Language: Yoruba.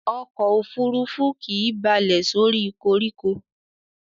Ọkò òfurufú kìí balẹ̀ sórí koríko.